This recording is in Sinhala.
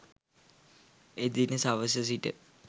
එදින සවස සිට